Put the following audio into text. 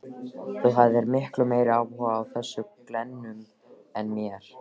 Þú hafðir miklu meiri áhuga á þessum glennum en mér.